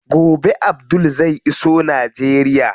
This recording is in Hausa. Gobe Abdul zai iso Najeriya.